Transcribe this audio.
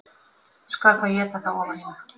Skal þá éta það ofan í mig